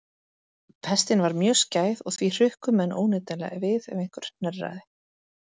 Pestin var mjög skæð og því hrukku menn óneitanlega við ef einhver hnerraði.